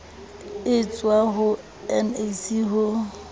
e tswang ho nac ho